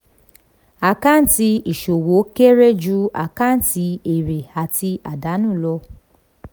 àkáǹtì ìṣòwò kéré ju àkáǹtì èrè àti àdánù lọ.